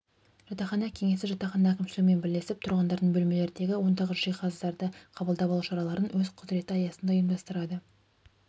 жатақхана кеңесі жатақхана әкімшілігімен бірлесіп тұрғындардың бөлмелерді ондағы жиһаздарды қабылдап алу шараларын өз құзыреті аясында ұйымдастырады